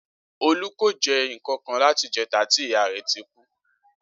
Olú kò jé nnkankan láti ìjéta tí ìyá rè tí kú